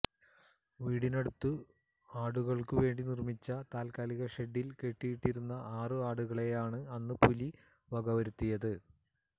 വീടിനടുത്ത് ആടുകള്ക്കു വേണ്ടി നിര്മ്മിച്ച താല്കാലിക ഷെഡില് കെട്ടിയിട്ടിരുന്ന ആറ് ആടുകളെയാണ് അന്ന് പുലികള് വകവരുത്തിയത്